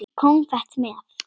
Konfekt með.